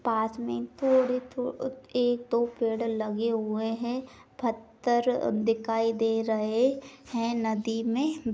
पास में थोड़े-थोड़े एक दो पेड़ लगे हुए हैं। पत्थर दिखाई दे रहें हैं नदी में।